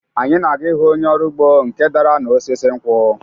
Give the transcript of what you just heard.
Anyị na-aga ịhụ onye ọrụ ugbo nke dara n’osisi nkwụ